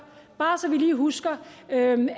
bare så vi lige husker